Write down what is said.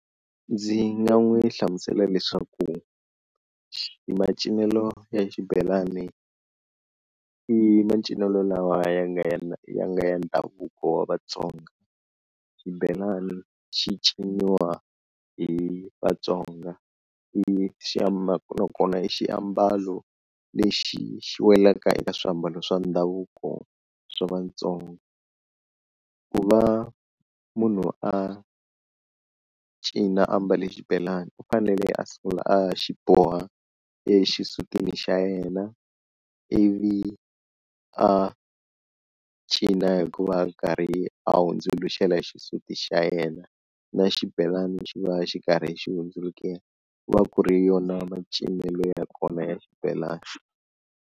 Ndzi nga n'wi hlamusela leswaku macinelo ya xibelani i macinelo lawa ya nga ya nga ya ndhavuko wa Vatsonga, xibelani xi ciniwa hi Vatsonga i na kona i xiambalo lexi xi welaka eka swiambalo swa ndhavuko swa Vatsonga, ku va munhu a cina a mbale xibelani u fanele a sungula a xi boha exisutini xa yena ivi a cina hi ku va a karhi a hundzuluxela xisati xa yena na xibelani xi va xi karhi xi hundzukela, ku va ku ri yona macinelo ya kona ya xibelani.